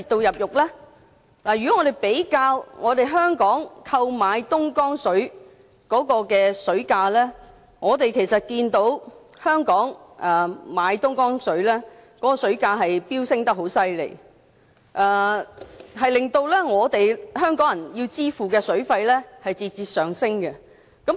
如果比較香港購買東江水的水價，可以看到香港購買東江水的水價飆升厲害，令到香港人要支付的水費節節上升。